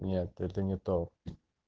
нет это не то